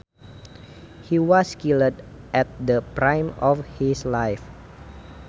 He was killed at the prime of his life